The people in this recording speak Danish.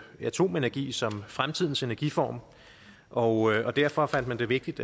atomenergi som fremtidens energiform og derfor fandt man det vigtigt